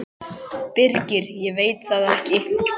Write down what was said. Birgir: Ég veit það ekkert.